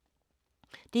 DR2